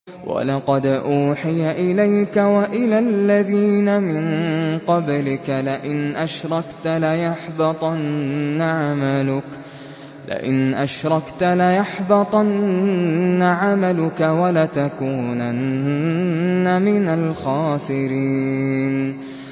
وَلَقَدْ أُوحِيَ إِلَيْكَ وَإِلَى الَّذِينَ مِن قَبْلِكَ لَئِنْ أَشْرَكْتَ لَيَحْبَطَنَّ عَمَلُكَ وَلَتَكُونَنَّ مِنَ الْخَاسِرِينَ